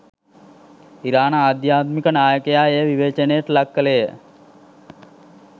ඉරාන ආධ්‍යාත්මික නායකයා එය විවේචනයට ලක් කළේය